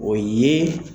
O ye